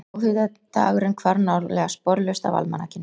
Þjóðhátíðardagurinn hvarf nálega sporlaust af almanakinu.